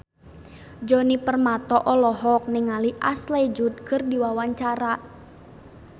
Djoni Permato olohok ningali Ashley Judd keur diwawancara